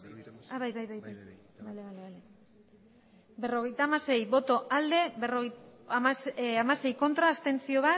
bai hamasei ez bat abstentzio